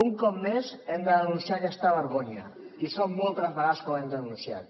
un cop més hem de denunciar aquesta vergonya i són moltes les vegades que ho hem denunciat